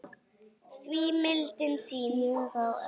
því mildin þín